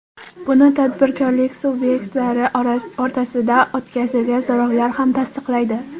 Buni tadbirkorlik subyektlari o‘rtasida o‘tkazilgan so‘rovlar ham tasdiqlaydi.